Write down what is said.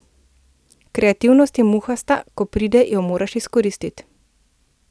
Kreativnost je muhasta, ko pride, jo moraš izkoristiti.